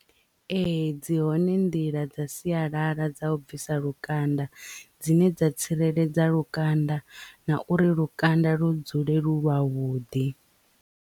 Ee dzi hone nḓila dza sialala dza u bvisa lukanda dzine dza tsireledza lukanda na uri lukanda lu dzule lu lwavhuḓi.